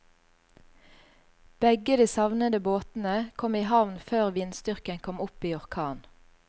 Begge de savnede båtene kom i havn før vindstyrken kom opp i orkan.